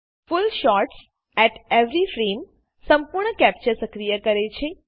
full shots at every Frameસંપૂર્ણ capture સક્રિય કરે છે